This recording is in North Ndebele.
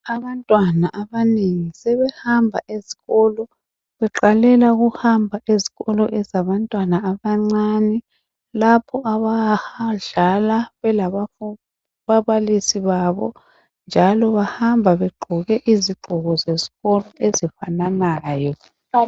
Abantwana abanengi sebehamba ezikolo beqalela ukuhamba ezikolo ezabantwana abancane lapho abadlala lababalisi babo njalo bahamba begqoke izigqoko esikolo ezifananayo.